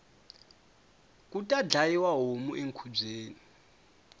kula dyayiwa homu ekhubyeni